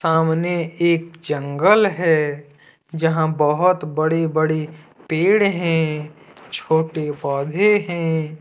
सामने एक जंगल है जहां बहोत बड़े बड़े पेड़ हैं छोटे पौधे हैं।